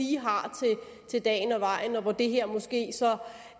lige har til dagen og vejen og for hvem det her måske